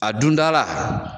A dunda la